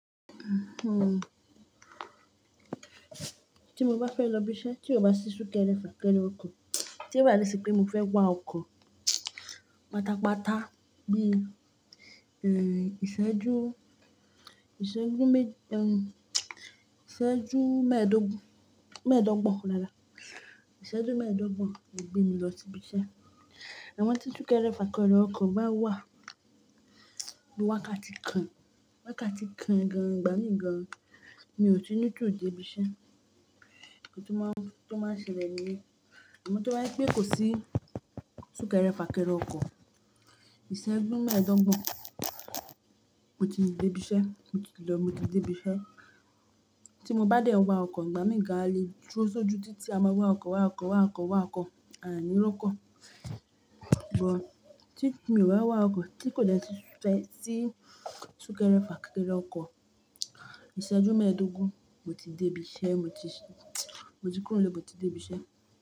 Tí mo bá fẹ́ lọ ibiṣẹ́, tí ó bá sì súkẹrẹ fà kẹrẹ ọkọ̀, tí ó bá dẹ si pé mo fẹ́ wá ọkọ̀ pátápátá bí i, ẹ́, ìṣẹ́jú, ìṣẹ́jú mẹ́ẹ̀dógún, ìṣẹ́jú mẹ́ẹ̀dọ́gbọ̀n rárá, ìṣẹ́jú mẹ́ẹ̀dọ́gbọ̀n yóò gbé mi lọ si ibiṣẹ́. Amọ tí súkẹrẹ fà kẹrẹ ọkọ̀ bá wà, bí wákàtí kan, wákàtí kan gan-an, igbámi gan-an, mi ò tí ní tu de ibiṣẹ́. Iń kan tó máa ń, tó máa ń ṣẹlẹ̀ nílé. Àmọ́ tó bá jẹ pé kò sí súkẹrẹ fà kẹrẹ ọkọ̀, ìṣẹ́jú mẹ́ẹ̀dọ́gbọ̀n mo ti dé ibiṣẹ́, mo ti lọ, mo ti dé ibiṣẹ́. Tí mo bá dẹ wá ọkọ̀, ìgbá mi gan-an a le dúró sójú títí a máa wá ọkọ̀, wá ọkọ̀, wá ọkọ̀, wá ọkọ̀, à ni r'ọ́kọ̀. But tí mi ò wá wá ọkọ̀, tí kò dẹ ti fẹ́ sí súkẹrẹ fà kẹrẹ ọkọ̀, ìṣẹ́jú mẹ́ẹ̀dógún mo ti dé ibiṣẹ́, mo ti ṣí, mo ti kúrò nlé, mo ti dé ibiṣẹ́